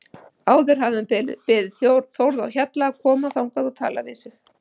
Áður hafði hann beðið Þórð á Hjalla að koma þangað og tala við sig.